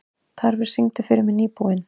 Tarfur, syngdu fyrir mig „Nýbúinn“.